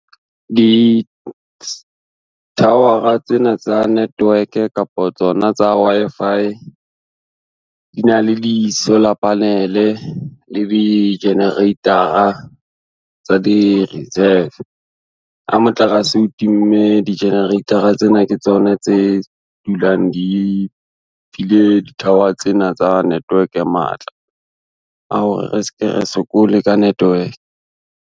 Di-tower-a tsena tsa network kapa tsona tsa Wi-Fi, di na le di-solar panel-e le di-generator-a tsa di-reserve. Ha motlakase o timme di-generator-a tsena ke tsona tse dulang di file di-tower tsena tsa network matla, a hore re ska ra sokole ka network.